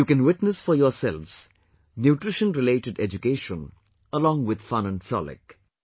You can witness for yourselves nutrition related education along with fun and frolic